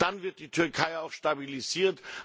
Dann wird die Türkei auch stabilisiert.